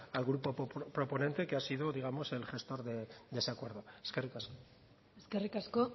al grupo proponente que ha sido digamos el gestor de ese acuerdo eskerrik asko eskerrik asko